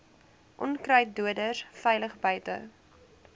onkruiddoders veilig buite